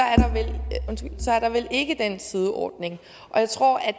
er der vel ikke den sideordning og jeg tror at